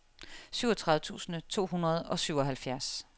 syvogtredive tusind to hundrede og syvoghalvfjerds